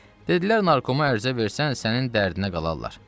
Dedilər narkoma ərizə versən sənin dərdinə qalarlar.